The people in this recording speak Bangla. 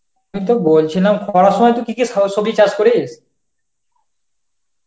আমি তো বলছিলাম খরার সময় তু কি কি সো~ সবজি চাষ করিস?